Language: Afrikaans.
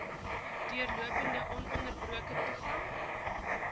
deurlopende ononderbroke toegang